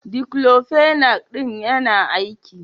"Diclofenac " din yana aiki?